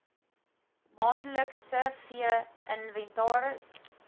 maandelikse vee inventaris